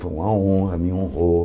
Foi uma honra, me honrou.